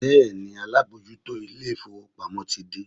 Bẹ́ẹ̀ni, alábòójútó ilé-ìfowópamọ́ ti dé